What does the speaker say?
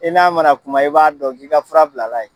I n'a mana kuma i b'a dɔn ki ka fura bilala ye.